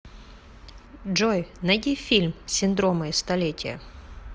джой найди фильм синдромы и столетия